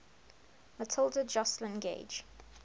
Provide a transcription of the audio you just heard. matilda joslyn gage